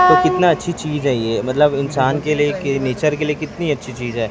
कितना अच्छी चीज है ये मतलब इंसान के लिए नेचर के लिए कितनी अच्छी चीज है।